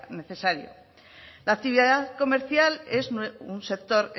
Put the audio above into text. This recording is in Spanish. necesario la actividad comercial es un sector